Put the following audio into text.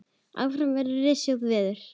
Áfram verður rysjótt veður.